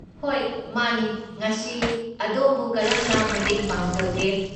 ꯍꯣꯏ ꯃꯥꯅꯤ, ꯉꯁꯤ ꯑꯗꯣꯝꯕꯨ ꯀꯔꯝꯅ ꯃꯇꯦꯡ ꯄꯥꯡꯖꯧꯒꯦ?